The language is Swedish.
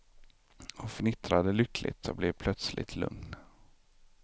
Hon fnittrade lyckligt och blev plötsligt lugn.